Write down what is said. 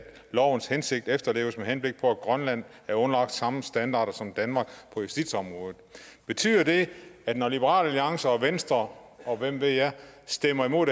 lovenes hensigt efterleves med henblik på at grønland er underlagt de samme standarder som danmark på justitsområdet betyder det at når liberal alliance og venstre og hvem ved jeg stemmer imod